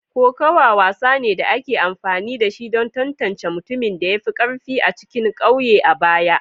Kokawa wasa ne da ake amfani da shi don tantance mutumin da ya fi karfi a cikin kauye a baya.